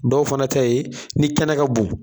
Dɔw fana ta ye ni kɛnɛ ka bon